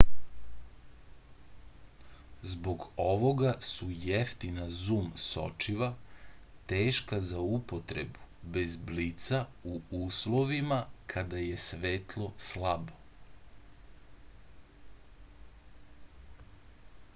zbog ovoga su jeftina zum sočiva teška za upotrebu bez blica u uslovima kada je svetlo slabo